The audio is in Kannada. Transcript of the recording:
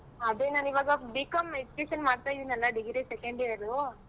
ಅದೇ ನಾನು ಇವಾಗ B.Com education ಮಾಡ್ತಾ ಇದ್ದಿನಲ್ಲ degree second year .